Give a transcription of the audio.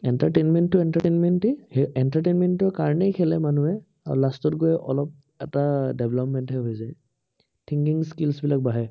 entertainment টো entertainment য়েই, সেই entertainment ৰ কাৰনেই খেলে মানুহে। আৰু last ত গৈ অলপ এটা development হে হৈ যায়। thinking skills বিলাক বাঢ়ে।